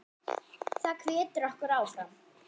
Það hvetur okkur áfram.